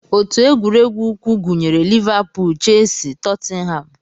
Otu egwuregwu ụkwụ gụnyere Liverpool, Chelsea, Tottenham